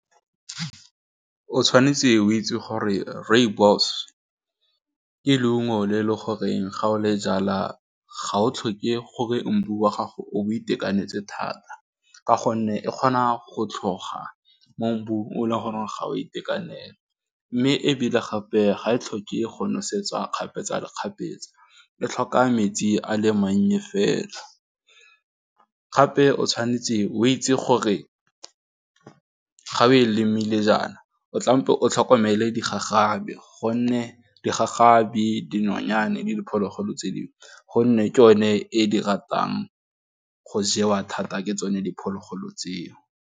O tshwanetse o itse gore rooibos ke leungo le e le goreng ga o le jala ga o tlhoke gore mbu wa gago o itekanetse thata ka gonne e kgona go tlhoga mo mbu o le gore ga o itekanela, mme ebile gape ga e tlhoke e go nosetsa kgapetsakgapetsa e tlhoka metsi a le mannye fela, gape o tshwanetse o itse gore ga o e lemile jaana o tlabe o tlhokomele digagabi gonne digagabi, dinonyane le diphologolo tse dingwe gonne ke o ne e di ratang go jewa thata ke tsone diphologolo tseo.